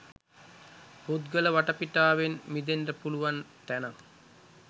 පුද්ගල වටපිටාවෙන් මිදෙන්න පුළුවන් තැනක්.